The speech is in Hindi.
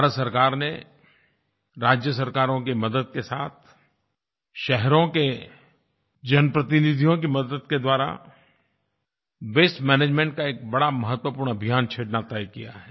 भारत सरकार ने राज्य सरकारों की मदद के साथ शहरों के जनप्रतिनिधियों की मदद के द्वारा वास्ते मैनेजमेंट का एक बड़ा महत्वपूर्ण अभियान शुरू करना तय किया है